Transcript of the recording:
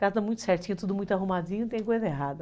Casa muito certinha, tudo muito arrumadinho, não tem coisa errada.